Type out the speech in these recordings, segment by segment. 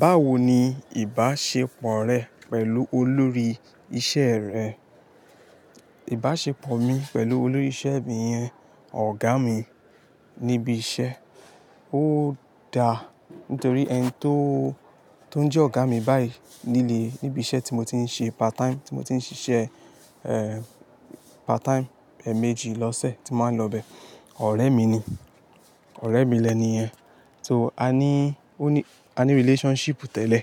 Báwo ni ìbáṣepọ̀ rẹ pẹ̀lú olórí iṣẹ́ rẹ? Ìbáṣepọ̀ mi pẹ̀lú olórí iṣẹ́ bi iyen ọ̀gá mi níbi iṣẹ́, ó da nítorí ẹni tó, tó ń jẹ́ ọ̀gá mi báyìí nílé, níbi iṣẹ́ tí mo ti ń ṣe part time, tí mo ti ń ṣiṣẹ́, ẹ, part time, ẹeméjì lọ́sẹ̀ tí mo màá ń lọ bẹ, ọ̀rẹ́ mi ni. Ọ̀rẹ́ mi lẹniyẹ́n. So, a ní, ó ní, a ní relationship tẹ́lẹ̀.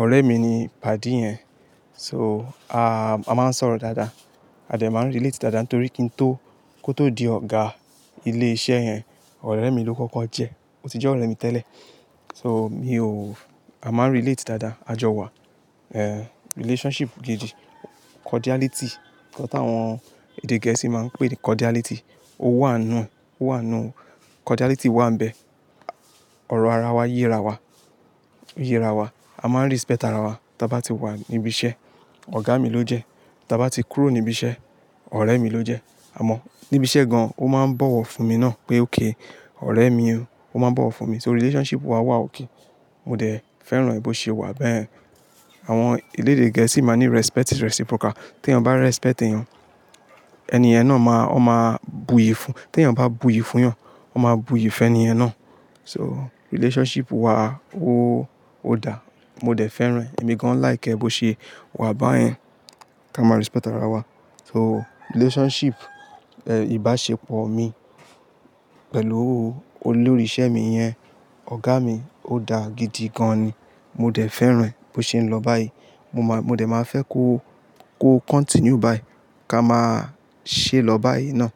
Ọ̀rẹ́ mi ni padi ẹ́n. So, a, a máa ń sọ̀rọ̀ dáadáa. A dẹ̀ máa ń relate dáadáa nítorí kí n tó, kó tó di ọ̀gá ilé iṣẹ́ yẹn, ọ̀rẹ́ mi ló kọ́kọ́ jẹ́. Ó ti jẹ́ ọ̀rẹ́ mi tẹ́lẹ̀. So, mi ò, a máa n relate dáadáa, àjọ wa, ẹ, relationship gidi. Cordiality, nǹkan tí àwọn èdè gẹ̀ẹ́sì máa ń pè ní cordiality. Ó wà nù, ó wà nù. Cordiality wà níbẹ̀. Ọ̀rọ̀ ara wa yíra wa, yíra wa. A máa ń respect ara wa. Tí a bá ti wà níbi iṣẹ́, ọ̀gá mi ló jẹ́. Tí a bá ti kúrò níbi iṣẹ́, ọ̀rẹ́ mi ló jẹ́. Àmọ́ níbi iṣẹ́ gan an ó máa ń bọ̀wọ̀ fún mi náà pé ókay,, ọ̀rẹ́ mi ó, o máa ń bọ̀wọ̀ fún mi. Tori relationship wa wà okay. Mo dẹ̀ fẹ́ràn bó ṣe wà bẹ́ẹ̀. Àwọn elédè gẹ̀ẹ́sì máa ní respect is reciprocal. Tí ẹyan bá respect èyàn, ẹni yẹ́n náà máa, ó máa buyì fún. Tí ẹyan bá buyì fún yàn, ó máa buyì fún ẹniyen na. So, relationship wa ó, ó da. Mo dẹ̀ fẹ́ràn ẹ́. Èmi gan an like ẹ bó ṣe wà báyẹn. Ká máa respect ara wa. So relationship, ẹ, ìbáṣepọ̀ mi pẹ̀lú olórí iṣẹ́ mi yẹn, ọ̀gá mi, ó dá gidi gan ni. Mo dẹ̀ fẹ́ràn ẹ́ bó ṣe ń lọ báyìí. Mo máa, mo dẹ̀ máa fẹ́ kó, kó continue báyìí. Ká máa ṣe lọ báyìí náà.